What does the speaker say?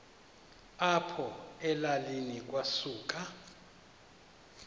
apho elalini kwasuka